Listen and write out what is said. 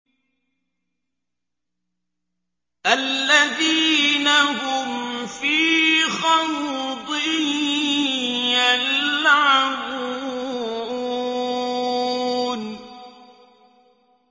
الَّذِينَ هُمْ فِي خَوْضٍ يَلْعَبُونَ